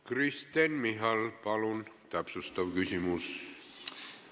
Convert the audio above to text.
Kristen Michal, palun täpsustav küsimus!